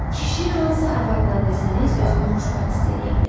Kişi hansı arvadla desəniz özünü xoşbəxt hiss eləyə bilər.